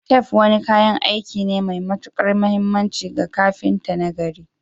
Tef wani kayan aiki ne mai matuƙar mahimmanci ga kafinta nagari.